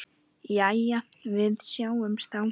Jæja, við sjáumst þá.